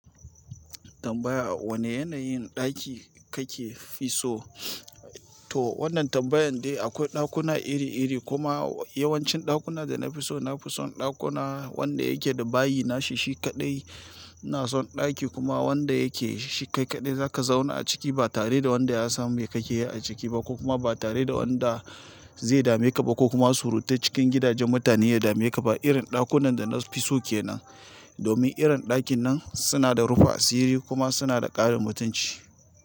Tambaya wane yanayin ɗaki kake fi so? To wannan tambayan dai akwai ɗakuna iri-iri kuma yawancin ɗakuna da na fi so, na fi son ɗakuna wanda yake da bayi nashi shi kaɗai. Na son ɗaki kuma wanda yake shi kai kaɗai za ka zauna a ciki ba tare da wanda ya san me kake yi a ciki ba ko kuma ba tare da wanda zai dame ka ba ko kuma suruta cikin gidajen mutane ya dame ka ba. Irin ɗakunan da na fi so ke nan. Domin irin ɗakin nan suna da rufa asiri kuma suna da ƙarin mutunci.